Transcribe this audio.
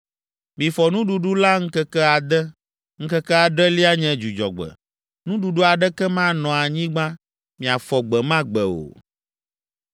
Mifɔ nuɖuɖu la ŋkeke ade, ŋkeke adrelia nye Dzudzɔgbe. Nuɖuɖu aɖeke manɔ anyigba miafɔ gbe ma gbe o.”